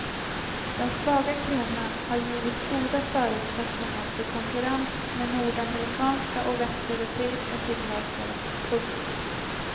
Den svaga kronan har givit goda förutsättningar för konkurrens med nordamerikanska och västeuropeiska tillverkare. punkt